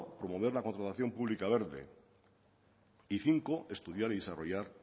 promover la contratación pública verde y cinco estudiar y desarrollar